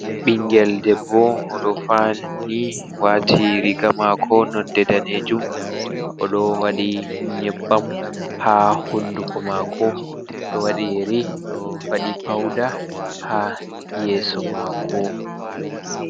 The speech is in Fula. Bingel debbo odo fauni wati riga mako nonde danejum, o wadi nyebbam ha hunduko mako, do wadi yeri ,wadi fauda ha yeso mako.